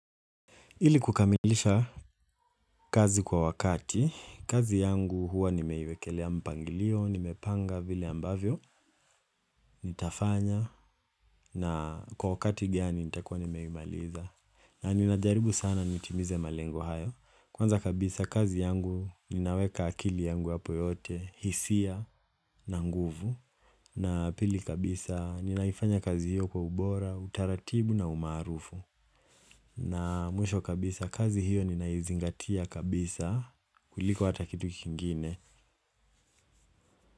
Ili kukamilisha kazi kwa wakati, kazi yangu huwa nimeiwekelea mpangilio, nimepanga vile ambavyo, nitafanya, na kwa wakati gani nitakua nimeimaliza. Na ninajaribu sana nitimize malengo hayo, kwanza kabisa kazi yangu ninaweka akili yangu hapo yote, hisia na nguvu, na pili kabisa ninaifanya kazi hiyo kwa ubora, utaratibu na umaarufu. Na mwisho kabisa kazi hiyo ninaizingatia kabisa kuliko hata kitu kingine.